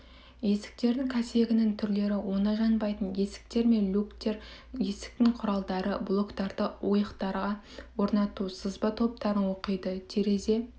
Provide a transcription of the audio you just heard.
есіктердің кәсегінің түрлері оңай жанбайтын есіктер мен люктер есіктің құралдары блоктарды ойықтарға орнату сызба тораптарын оқиды терезе